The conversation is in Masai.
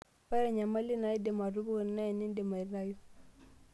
Ore enyamali naidim atupuku naa enindim aitaayu.